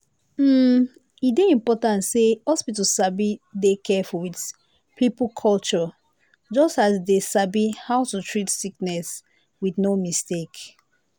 hmm e dey important say hospital sabi dey careful with people culture just as dem sabi how to treat sickness with no mistake.